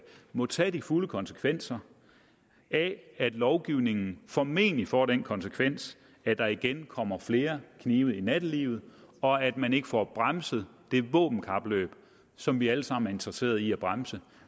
må tage de fulde konsekvenser af at lovgivningen formentlig får den konsekvens at der igen kommer flere knive i nattelivet og at man ikke får bremset det våbenkapløb som vi alle sammen er interesseret i at bremse